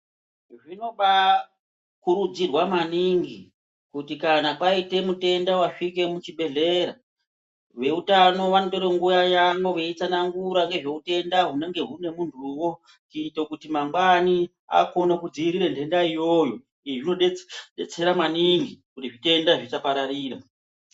Zvino baakurudzirwa maningi kuti kana paite mutenda wasvike muchi bhedhlera, veutano vanotore nguva yavo veitsanangura hutenda hunenge hune muntuwo, kuite kuti mangwani, akone kudziirira nhenda iyoyo. Izvi zvinodetsera maningi kuti zvitenda zvisapararira.